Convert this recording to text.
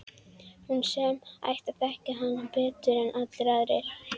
Hún sem ætti að þekkja hann betur en allir aðrir.